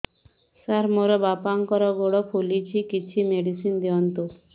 ସାର ମୋର ବାପାଙ୍କର ଗୋଡ ଫୁଲୁଛି କିଛି ମେଡିସିନ ଦିଅନ୍ତୁ